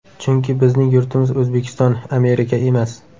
Chunki bizning yurtimiz O‘zbekiston, Amerika emas.